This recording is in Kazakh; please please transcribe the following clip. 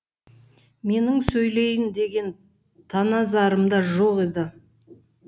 менің сөйлейін деген таназарымда жоқ еді